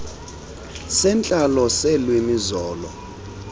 sentlalo seelwimi zolo